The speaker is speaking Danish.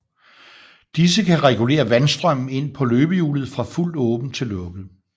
Disse kan regulere vandstrømmen ind på løbehjulet fra fuldt åben til lukket